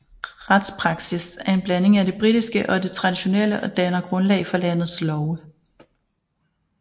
Retspraksis er en blanding af det britiske og det traditionelle og danner grundlag for landets love